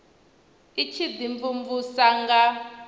i tshi ḓi mvumvusa nga